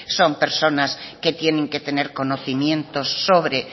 son personas que tienen que tener conocimientos sobre